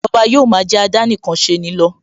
Ìjọba yóò ma jẹ́ àdánìkanṣeni lọ